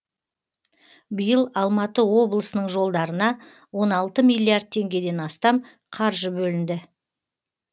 биыл алматы облысының жолдарына он алты миллиард теңгеден астам қаржы бөлінді